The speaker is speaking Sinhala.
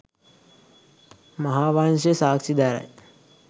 මහාවංශය සාක්ෂි දරයි.